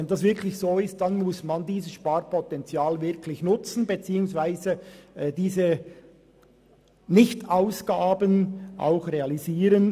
Wenn das wirklich so ist, muss man dieses Sparpotenzial nutzen beziehungsweise diese Nicht-Ausgaben realisieren.